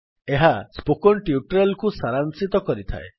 ଏହା spoken tutorial କୁ ସାରାଂଶିତ କରିଥାଏ